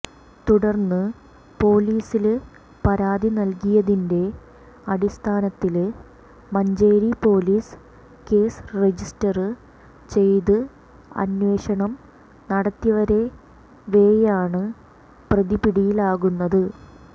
തുടര്ന്ന് പോലിസില് പരാതി നല്കിയതിന്റെ അടിസ്ഥാനത്തില് മഞ്ചേരി പോലിസ് കേസ് രജിസ്റ്റര് ചെയ്ത് അന്വേഷണം നടത്തിവരവെയാണ് പ്രതി പിടിയിലാകുന്നത്